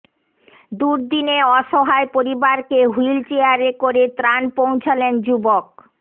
দুর্দিনে অসহায় পরিবারকে হুইল চেয়ারে করে ত্রাণ পৌঁছলেন যুবক